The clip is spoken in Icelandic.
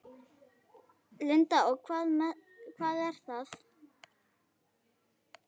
Linda: Og hvað er það?